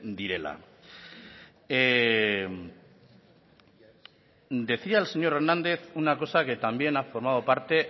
direla decía el señor hernández una cosa que también ha formado parte